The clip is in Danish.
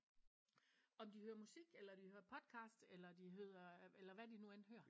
Om de hører musik eller de hører podcast eller de hører eller hvad de nu end hører